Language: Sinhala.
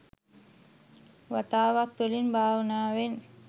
වතාවත් වලින්, භාවනාවෙන්,